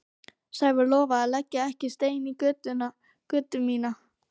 Sævar lofaði að leggja ekki stein í götu mína.